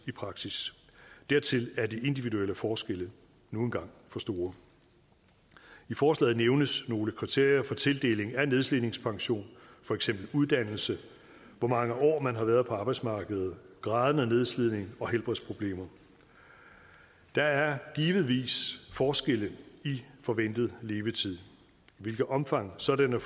i praksis dertil er de individuelle forskelle nu engang for store i forslaget nævnes nogle kriterier for tildeling af nedslidningspension for eksempel uddannelse hvor mange år man har været på arbejdsmarkedet graden af nedslidning og helbredsproblemer der er givetvis forskelle i forventet levetid i hvilket omfang sådanne